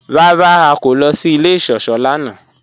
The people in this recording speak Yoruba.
Rárá, à kò lọ sí ilẹ̀ ìṣọ̀ṣọ́ lánà.